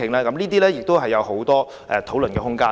這些事項都有很多討論的空間。